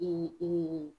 I